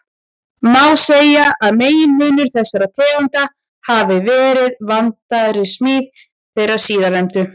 Má segja að meginmunur þessara tegunda hafi verið vandaðri smíð þeirra síðarnefndu.